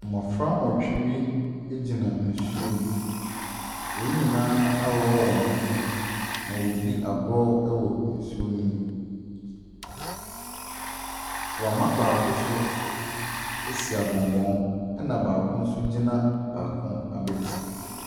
Mmɔfra nwɔtwe bi egyina nsuo mu. Wɔn nyinaa aworɔ wɔn ho na ɔredi agorɔ ɛwɔ nsuo no mu. Wama baako so ɛsi agɔngɔn ɛna baako nso gyina baako abɛti.